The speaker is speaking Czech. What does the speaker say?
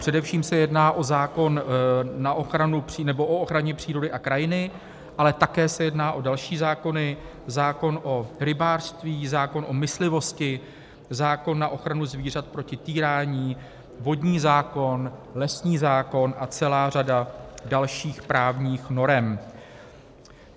Především se jedná o zákon o ochraně přírody a krajiny, ale také se jedná o další zákony, zákon o rybářství, zákon o myslivosti, zákon na ochranu zvířat proti týrání, vodní zákon, lesní zákon a celá řada dalších právních norem.